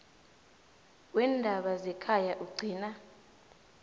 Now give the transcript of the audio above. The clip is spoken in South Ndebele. weendaba zekhaya ukugcina